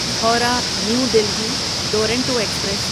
Howrah new Delhi Duronto express